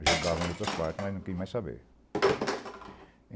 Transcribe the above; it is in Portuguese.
Ajudava em outras partes, mas não queria mais saber.